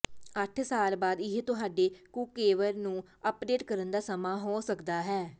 ਅੱਠ ਸਾਲ ਬਾਅਦ ਇਹ ਤੁਹਾਡੇ ਕੁੱਕਵੇਅਰ ਨੂੰ ਅਪਡੇਟ ਕਰਨ ਦਾ ਸਮਾਂ ਹੋ ਸਕਦਾ ਹੈ